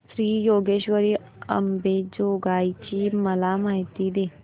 श्री योगेश्वरी अंबेजोगाई ची मला माहिती दे